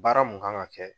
Baara mun kan ka kɛ